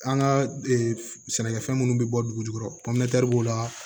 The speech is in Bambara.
An ka sɛnɛkɛfɛn minnu bɛ bɔ dugu jukɔrɔ b'o la